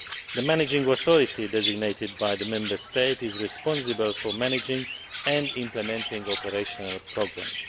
The managing authority designated by the Member State is responsible for managing and implementing operational programmes.